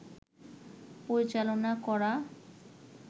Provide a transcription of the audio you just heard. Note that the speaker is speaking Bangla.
পরিচালনা করা